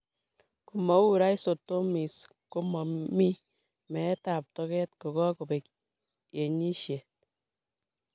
Ko mo u Rhizotomies, ko mo mii meetab toket ko kakobek enyishet.